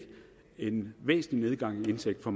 en væsentlig nedgang i indtægt for